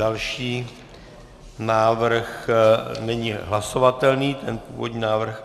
Další návrh není hlasovatelný, ten původní návrh